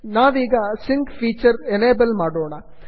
ನಾವೀಗ ಸಿಂಕ್ ಫೀಚರನ್ನು ಎನೇಬಲ್ ಮಾಡೋಣ